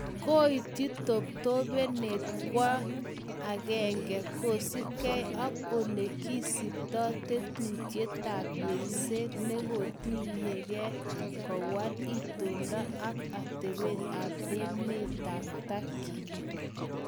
Koityi toptopenet kwony agenge kosipgei ak ole kisipto tetutyietap yengset netokyinike kowal itondo ak atebet en emetab Turkey